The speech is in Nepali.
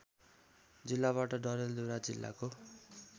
जिल्लाबाट डडेलधुरा जिल्लाको